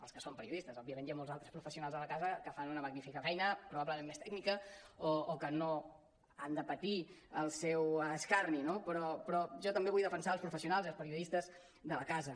els que són periodistes òbviament hi ha molts altres professionals a la casa que fan una magnífica feina probablement més tècnica o que no han de patir el seu escarni no però jo també vull defensar els professionals i els periodistes de la casa